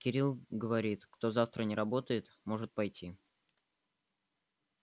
кирилл говорит кто завтра не работает может пойти